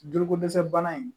Juluko dɛsɛ bana in